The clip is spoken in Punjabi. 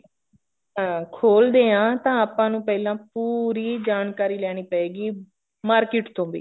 ਅਹ ਖੋਲਦੇ ਹਾਂ ਤਾਂ ਆਪਾਂ ਨੂੰ ਪਹਿਲਾ ਪੂਰੀ ਜਾਣਕਾਰੀ ਲੈਣੀ ਪਏਗੀ market ਤੋਂ ਵੀ